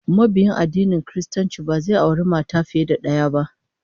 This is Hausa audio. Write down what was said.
Mabiyin addinin Kiristanci ba zai auri mata fiye da daya ba